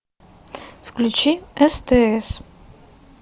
включи стс